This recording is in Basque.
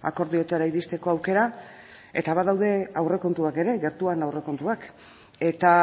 akordioetara iristeko aukera eta badaude aurrekontuak ere gertuan aurrekontuak eta